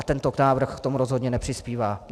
A tento návrh k tomu rozhodně nepřispívá.